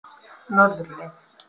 Norðurleið